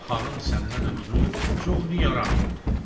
Xanım səndən ötrü çox niran oldu.